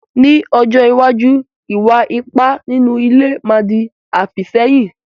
Ní ọjọ́ iwájú, ìwà ipá nínú ilé má di àfìsẹ́yìn.